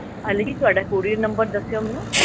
ਅਲੀ ਤੁਹਾਡਾ couriernumber ਦੱਸਿਓ ਮੈਨੂੰ